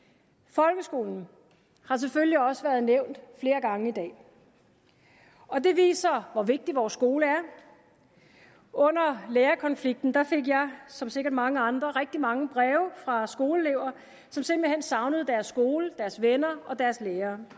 folkeskolen har selvfølgelig også været nævnt flere gange i dag og det viser hvor vigtig vores skole er under lærerkonflikten fik jeg som sikkert mange andre rigtig mange breve fra skoleelever som simpelt hen savnede deres skole deres venner og deres lærere